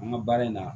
An ka baara in na